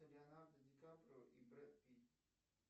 леонардо ди каприо и брэд питт